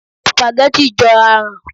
Sùpàgẹ́tì jọ aràn